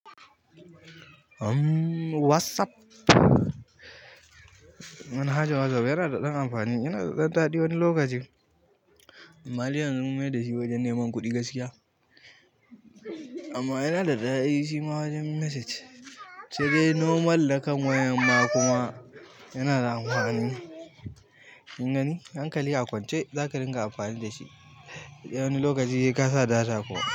WhatsApp, manhajan WhatsApp yana da ɗan amfani. Yana da ɗan daɗi wani lokaci. Amma dai yanzu mun mayar da shi wajen neman kuɗi gaskiya, amma yana da daɗi shi ma wajen message. Saidai normal da kan wayan ma kuma yana da amfani. Kin gani? Hankali a kwance za ka ringa amfani da shi, wani lokaci sai ka sa data kuma.